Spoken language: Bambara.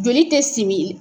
Joli tɛ simin